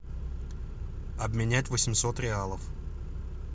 обменять восемьсот реалов